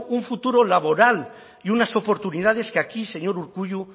un futuro laboral y unas oportunidades que aquí señor urkullu